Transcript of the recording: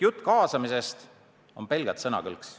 Jutt kaasamisest on pelgalt sõnakõlks.